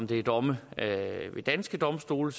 det er domme ved danske domstole